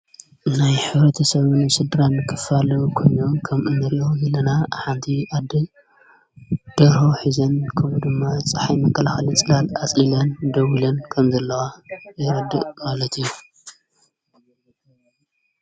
ናይ ሕብረተሰብን ስድራን ክፋልዊ ኮን ከም እነር ሂለና ኣሓንቲ ኣዲ ድሮ ኂዘን ከምኡ ድማ ዝፀሓይ መቀልሃሊ ጽላል ኣጽሊላን ደውልን ከም ዘለዋ የረድእ ማለት እዩ።